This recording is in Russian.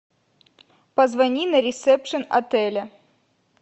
позвони на ресепшен отеля